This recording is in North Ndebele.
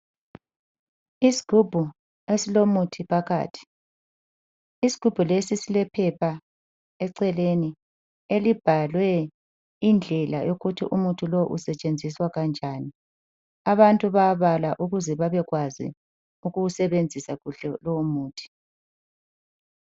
Isigubhu esilomuthi phakathi. Isigubhu lesi silephepha eceleni, elibhalwe indlela ukuthi umuthi lo usetshenziswa kanjani. Abantu bayabala ukuze babekwazi ukuwusebenzisa kuhle lowo muthi.